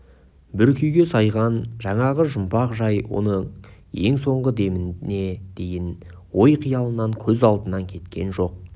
бір күйге сайған жаңағы жұмбақ жай оның ең соңғы деміне дейін ой қиялынан көз алдынан кеткен жоқ